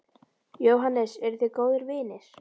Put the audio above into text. Jóhannes: Eruð þið góðir vinir?